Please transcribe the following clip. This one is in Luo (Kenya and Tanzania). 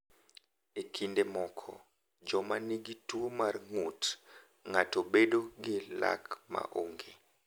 E kinde moko, joma nigi tuwo mar ng’ut ng’ato bedo gi lak ma onge.